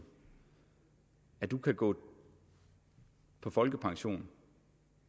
du kan gå på folkepension